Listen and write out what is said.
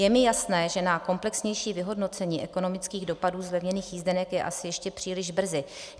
Je mi jasné, že na komplexnější vyhodnocení ekonomických dopadů zlevněných jízdenek je asi ještě příliš brzy.